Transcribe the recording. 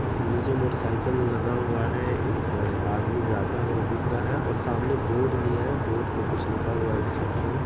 नीचे motorcycle लगा हुआ है एक अ आदमी जाता हुआ दिख रहा है और सामने बोर्ड भी है बोर्ड पे कुछ लिखा हुआ है इंस्ट्रक्शन .